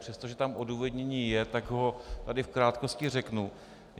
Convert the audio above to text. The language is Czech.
Přestože tam odůvodnění je, tak ho tady v krátkosti řeknu.